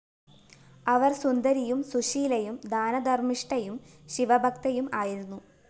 അവര്‍ സുന്ദരിയും സുശീലയും ദാനധര്‍മിഷ്ഠയും ശിവഭക്തയും ആയിരുന്നു